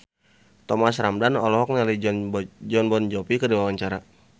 Thomas Ramdhan olohok ningali Jon Bon Jovi keur diwawancara